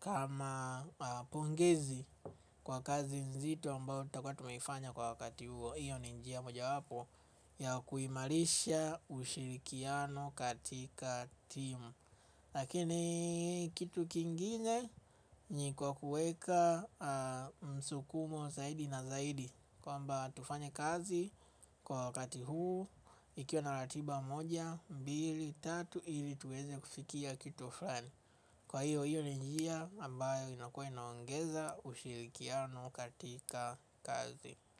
kama pongezi kwa kazi nzito ambao takua tumeifanya kwa wakati huo. Iyo ni njia moja wapo ya kuimarisha ushirikiano katika timu. Lakini kitu kingine ni kwa kuweka msukumo zaidi na zaidi kwamba tufanye kazi kwa wakati huu ikiwa na ratiba moja, mbili, tatu ili tuweze kufikia kitu fulani. Kwa hiyo hiyo ni njia ambayo inakuwa inaongeza ushirikiano katika kazi.